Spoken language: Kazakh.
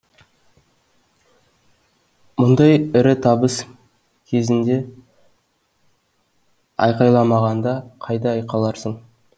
мұндай ірі табыс кезінде айқайламағанда қайда айқайларсың